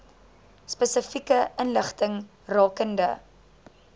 spesifieke inligting rakende